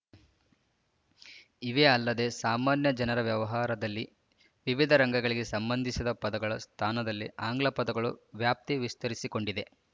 ಇವೇ ಅಲ್ಲದೆ ಸಾಮಾನ್ಯ ಜನರ ವ್ಯವಹಾರದಲ್ಲಿ ವಿವಿಧ ರಂಗಗಳಿಗೆ ಸಂಬಂಧಿಸಿದ ಪದಗಳ ಸ್ಥಾನದಲ್ಲಿ ಆಂಗ್ಲಪದಗಳ ವ್ಯಾಪ್ತಿ ವಿಸ್ತರಿಸಿಕೊಂಡಿದೆ